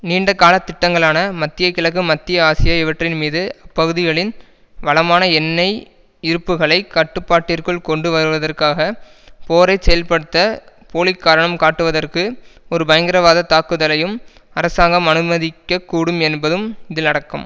நீண்டகாலத் திட்டங்களான மத்திய கிழக்கு மத்திய ஆசியா இவற்றின்மீது அப்பகுதிகளின் வளமான எண்ணெய் இருப்புகளைக் கட்டுப்பாட்டிற்குள் கொண்டு வருவதற்காக போரை செயல்படுத்தப் போலிக்காரணம் காட்டுவதற்கு ஒரு பயங்கரவாதத் தாக்குதலையும் அரசாங்கம் அனுமதிக்க கூடும் என்பதும் இதில் அடக்கம்